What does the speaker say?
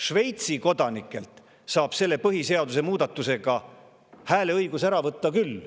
Šveitsi kodanikelt saab hääleõiguse põhiseaduse selle muudatusega ära võtta küll.